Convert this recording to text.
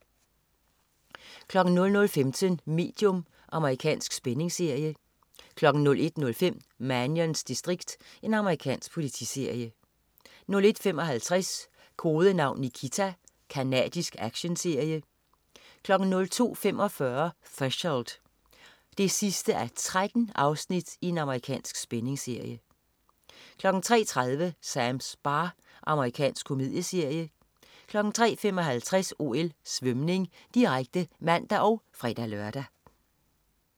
00.15 Medium. Amerikansk spændingsserie 01.05 Mannions distrikt. Amerikansk politiserie 01.55 Kodenavn Nikita. Canadisk actionserie 02.45 Threshold 13:13. Amerikansk spændingsserie 03.30 Sams bar. Amerikansk komedieserie 03.55 OL: Svømning, direkte (man og fre-lør)